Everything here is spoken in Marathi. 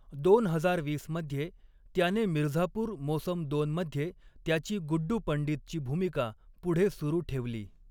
दोन हजार वीस मध्ये, त्याने मिर्झापूर मोसम दोन मध्ये त्याची गुड्डू पंडितची भूमिका पुढे सुरू ठेवली.